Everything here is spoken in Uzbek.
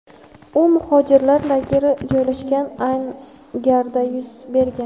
U muhojirlar lageri joylashgan angarda yuz bergan.